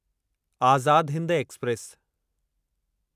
Azad Hind express